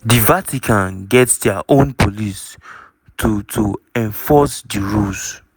di vatican get dia own police to to enforce di rules.